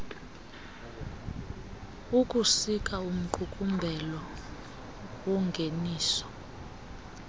ukusika umqukumbelo wongeniso